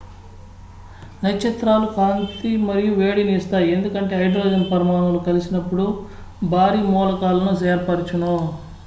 నక్షత్రాలు కాంతిమరియు వేడిని ఇస్తాయి ఎందుకంటే హైడ్రోజన్ పరమాణువులు కలిసినపుడు లేదా కలిసి భారీ మూలకాలను ఏర్పరచును